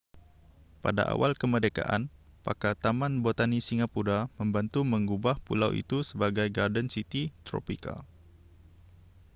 pada awal kemerdekaan pakar taman botani singapura membantu mengubah pulau itu sebagai garden city tropika